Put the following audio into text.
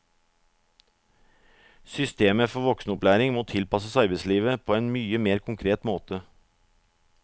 Systemet for voksenopplæring må tilpasses arbeidslivet på en mye mer konkret måte.